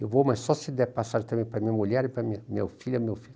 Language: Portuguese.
Eu vou, mas só se der passagem também para minha mulher e para minha meu filha, meu filho.